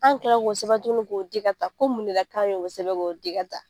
Anw kilara ko sɛbɛn tukuni k'o di ka taa, ko mun na k'an ye o sɛbɛn k'o di ka taa?